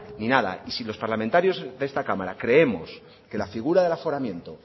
ni nada y si los parlamentarios de esta cámara creemos que la figura del aforamiento